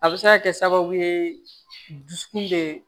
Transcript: A bɛ se ka kɛ sababu ye dusukun bɛ